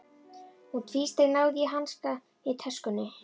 Hún tvísteig, náði í hanska í töskunni.